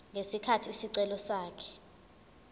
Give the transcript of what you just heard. ngesikhathi isicelo sakhe